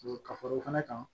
Ka fara o fana kan